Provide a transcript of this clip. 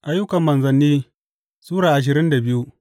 Ayyukan Manzanni Sura ashirin da biyu